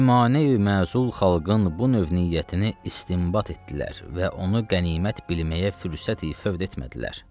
Ümani-məhzul xalqın bu növ niyyətini istinbat etdilər və onu qənimət bilməyə fürsəti fövt etmədilər.